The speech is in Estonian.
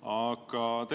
Aga